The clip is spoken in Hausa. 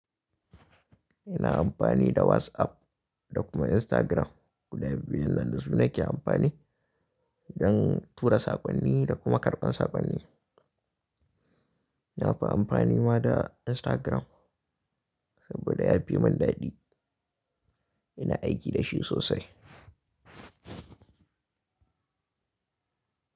Ina amfani da WhatsApp da kuma Instagram. Guda biyun nan da su nake amfani don tura saƙonni da kuma karɓar saƙonni. Na fi amfani ma da Instagram saboda ya fimin daɗi. Ina aiki da shi sosai.